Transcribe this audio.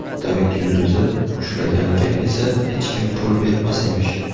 David yulduzi ushlaganiga esa hech kim pul bermas emish.